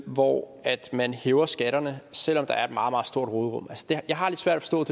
hvor man hæver skatterne selv om der er et meget meget stort råderum jeg har lidt svært